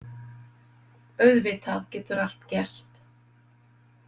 Auðvitað getur allt gerst.